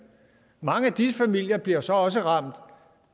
mange af de familier bliver så også ramt